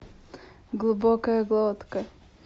глубокая глотка